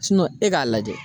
e k'a lajɛ.